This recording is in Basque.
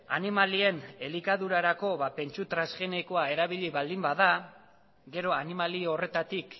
animalien elikadurarako pentsu transgenikoa erabili baldin bada gero animali horretatik